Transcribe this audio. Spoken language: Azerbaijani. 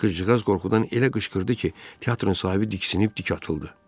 Qıcıqğaz qorxudan elə qışqırdı ki, teatrın sahibi diksinib dik atıldı.